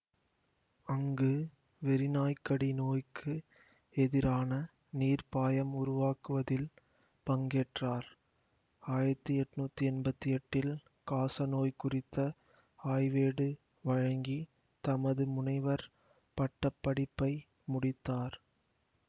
அங்கு வெறிநாய்க்கடி நோய்க்கு எதிரான நீர்ப்பாயம் உருவாக்குவதில் பங்கேற்றார் ஆயிரத்தி எட்ணூத்தி எம்பத்தி எட்டில் காசநோய் குறித்த ஆய்வேடு வழங்கி தமது முனைவர் பட்ட படிப்பை முடித்தார்